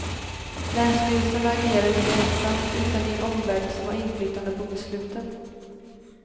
Länsstyrelsen agerar inte ensam utan i en omvärld som har inflytande på besluten.